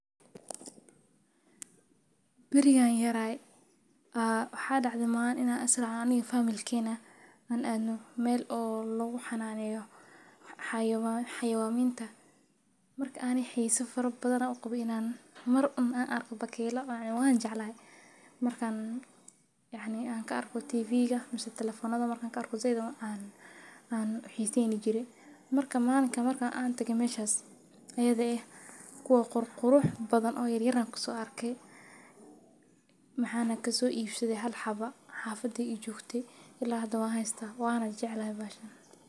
Bariga an yaraa ah waxaa dhacdha maalin inaan as raacno in family kayna an aadnu meel oo lagu xanaaneyo xayawaan xayawaan miinta. Marka aan i xiso faro badan u qabo inaan mar un aan arko baakeloo aan waan jeclaa markaan yacni aan ka arko TV ga, mise telephone nadu markaan ka arku zeedo ma aan aan xiisiin jirey. Marka maanka markaan aan tagay meeshi ayadoo ah kuwa qur quruux badan oo yar yaraan kusoo arkay maxaan hanka soo iibsaday hal xaba xaafad i joogtay ilaa hadda waa haysta waana jeclaa baashsan.